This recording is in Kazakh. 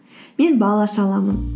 мен бал аша аламын